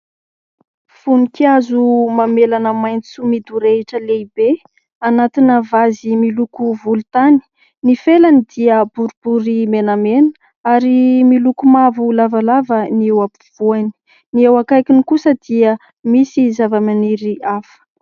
Vonikazo mamelana maitso midorehitra lehibe, anatina vazy miloko volontany. Ny felany dia boribory menamena ary miloko mavo lavalava ny eo ampovoany. Ny eo akaikiny kosa dia misy zavamaniry hafa.